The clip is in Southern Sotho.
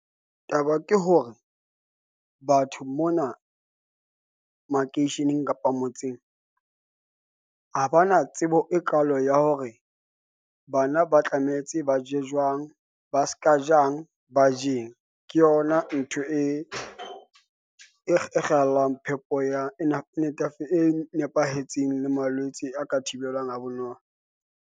Taba ke hore batho mona makeisheneng kapa motseng ha ba na tsebo e kaalo ya hore bana ba tlametse ba je jwang. Ba ska jang ba je eng. Ke yona ntho e kgallang phepo ya e nepahetseng le malwetse a ka thibelwang ha bonolo.